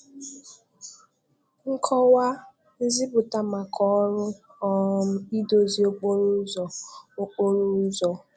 Nkọwa/Nziputa maka ọrụ um idozi okporo ụzọ. okporo ụzọ.